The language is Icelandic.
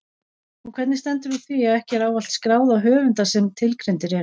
Og hvernig stendur á því að ekki er ávallt skráð á höfunda sem tilgreindir eru?